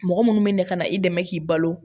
Mɔgɔ minnu bɛ na ka na i dɛmɛ k'i balo